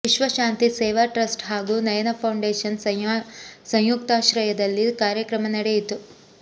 ವಿಶ್ವಶಾಂತಿ Seva trust ಹಾಗೂ Nayana foundation ಸಂಯುಕ್ತಾಶ್ರಯದಲ್ಲಿ ಕಾರ್ಯಕ್ರಮ ನಡೆಯಿತು